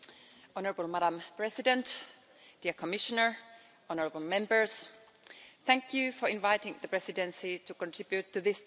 Madam President, dear Commissioner, honourable Members, thank you for inviting the Presidency to contribute to this debate.